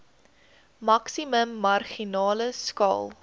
maksimum marginale skaal